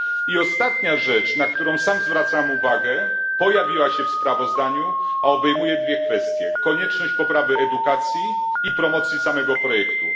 I ostatnia rzecz, na którą sam zwracam uwagę, pojawiła się w sprawozdaniu, a obejmuje dwie kwestie konieczność poprawy edukacji i promocji samego projektu.